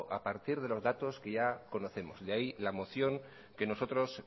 a partir de los datos que ya conocemos de ahí la moción que nosotros